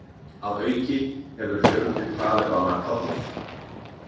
Að auki hefur fjöldi Talibana fallið